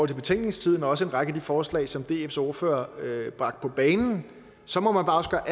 til betænkningstiden og også en række af de forslag som dfs ordfører bragte på bane så må man også bare